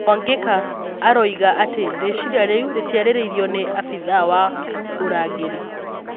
Mwangeka arũiga atĩ rĩcirĩa rĩu rĩtiarĩrĩirio nĩ afithaa wa ũrangĩri